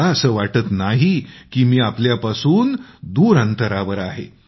मला असं वाटत नाही की मी आपल्यापासून थोडाही दूर अंतरावर आहे